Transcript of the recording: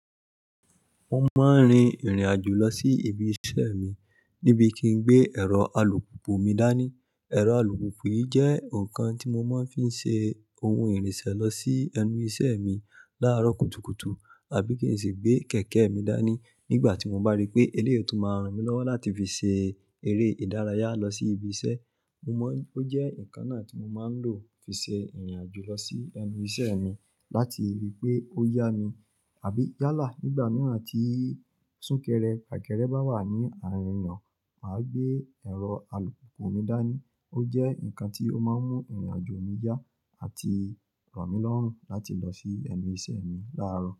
Mo máa ń rin ìrìn àjò lọ sí ibi iṣẹ́ mi níbi kin gbé ẹ̀rọ alùpùpù mi dání. Ẹ̀rọ alùpùpù yìí jẹ́ nǹkan tí mo máa ń fi ṣe ohun ìrìnsẹ̀ lọ sí ẹnu iṣẹ́ mi láàárọ̀ kùtùkùtù àbí kí n sì gbé kẹ̀kẹ́ mi dání nígbà tí mo bá rí pé eléyìí ó tún máa ràn mí lọ́wọ́ láti fi ṣe eré ìdárayá lọ sí ibi iṣẹ́. Mo maa, ó jẹ́ nǹkan náà tí mo máa ń lò fi ṣe ìrìn àjò lọ sí ẹnu iṣẹ́ mi láti ri pé ó yá mi àbí yálà. Nígbà mìíràn tí súnkẹrẹ, fakere bá wà ní àárín ìrìnà, màá gbé ẹ̀rọ alùpùpù mi dání. Ó jẹ́ nǹkan tí ó máa ń mú ìrìn àjò mi yá àti ràn mí lọ́rùn láti lọ sí ẹnu iṣẹ́ mi láàárọ̀.